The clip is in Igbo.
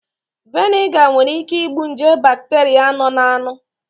Veniga nwere ị́ké ị́gbù nje bakteria nọ n'anụ.